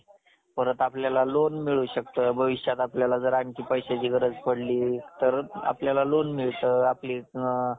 आणि म्हणूनच, ice cream सारख त्याच्यावरती, हा उतारा चांगला असतो. मनानी, डोक्यानी शांत राहता येतं. सगळ्यांबरोबर मजा करता येते.